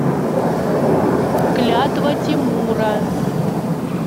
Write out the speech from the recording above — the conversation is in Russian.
клятва тимура